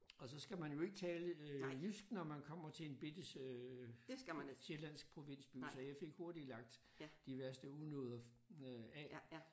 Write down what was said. Og så skal man ikke tale øh jysk når man kommer til en bitte øh sjællandsk provinsby så jeg fik hurtigt lagt de værste unåder øh af